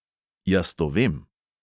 Jaz to vem.